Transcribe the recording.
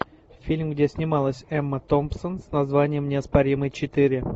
фильм где снималась эмма томпсон с названием неоспоримый четыре